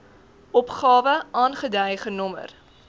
opgawe aangedui genommer